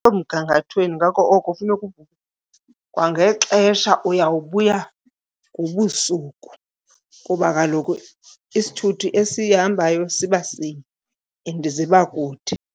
mgangathweni ngako oko kufuneka kwangexesha, uyawubuya ngobusuku kuba kaloku isithuthi esihambayo siba sinye and ziba kude.